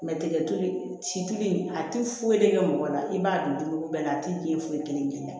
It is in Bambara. dɛgɛ sibiri a ti foyi de kɛ mɔgɔ la i b'a dun duuru bɛɛ la a ti den foyi kelen